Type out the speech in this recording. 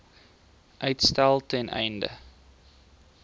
uitstel ten einde